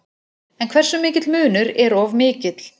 En hversu mikill munur er of mikill?